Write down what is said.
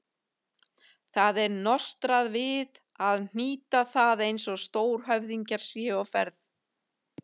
Það er nostrað við að hnýta það eins og stórhöfðingjar séu á ferð.